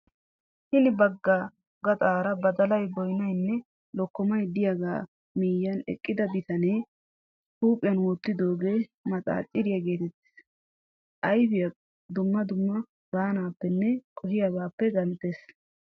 Hini baggaa gaxaara badalay, boyinayinne likkomayi diyagaa moyyiyaan eqqida bitamee huuphiyan wottidoogee maxaaciriyaa geetettes. Ayipiyaa dumma dumma baanaappenne qohiyaabaappe genttes.